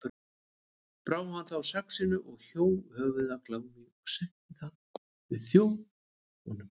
Brá hann þá saxinu og hjó höfuð af Glámi og setti það við þjó honum.